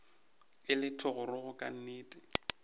e le thogorogo ka nnete